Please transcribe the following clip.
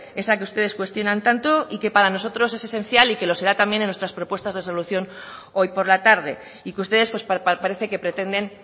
esa que ustedes cuestionan tanto y que para nosotros es esencial y que lo será también en nuestras propuestas de resolución hoy por la tarde y que ustedes parece que pretenden